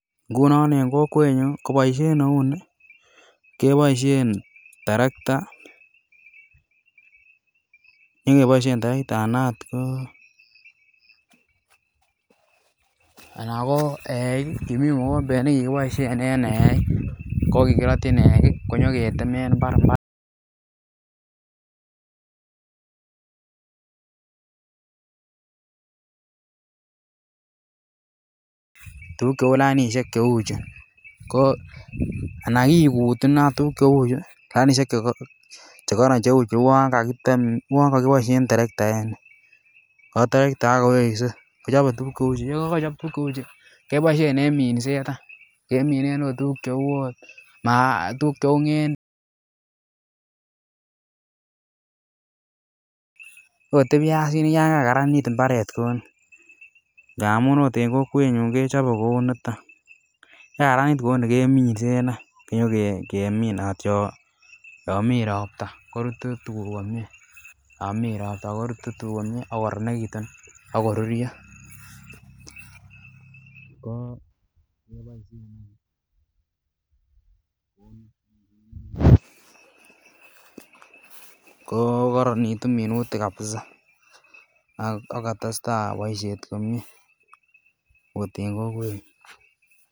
Ngunon en kokwetnyun ko boisiet neuu ni keboisien terekta ana ot ko eik kimii mogombet nekikiboisien en eik ko kikiroyin eik konyoketemen mbar [pause [pause]] tuguk cheu lainisiek cheu chu ko ana kikut inei tuguk cheu chu lainisiek chekoron cheu chu uon kakitem uon kokiboisien terekta kowo terekta ako weksei kichobe tuguk cheu chu yon kochob tuguk cheu chu keboisien en minset keminen ot tuguk cheu ng'endek ot biasinik yan kakaranit mbaret kou ni amun ot en kokwetnyun kechobe kou niton yekakaranit kou ni keminsen any konyo keminat yon mii ropta korutu tuguk komie akoruryo ko Ko koronitu minutik kabisa ak kotesetai boisiet komie ot en kokwetnyun